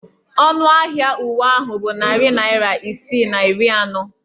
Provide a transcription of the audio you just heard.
Ọnụ ahịa uwe ahụ bụ narị naira isii na iri anọ.